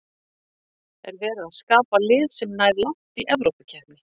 Er verið að skapa lið sem nær langt í Evrópukeppni?